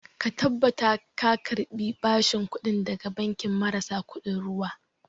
Ka tabbatar ka karɓi bashin kuɗi daga banki marasa kuɗin ruwa